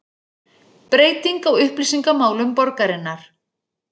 Breyting á upplýsingamálum borgarinnar